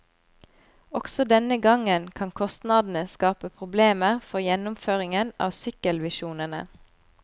Også denne gangen kan kostnadene skape problemer for gjennomføringen av sykkelvisjonene.